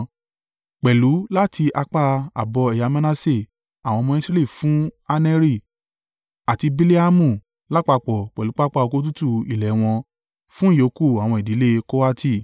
Pẹ̀lú láti apá ààbọ̀ ẹ̀yà Manase àwọn ọmọ Israẹli fún Aneri àti Bileamu lápapọ̀ pẹ̀lú pápá oko tútù ilẹ̀ wọn, fún ìyókù àwọn ìdílé Kohati.